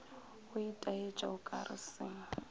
go itaetša o kare se